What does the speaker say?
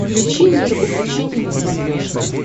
включи мир увлечений на смотрешке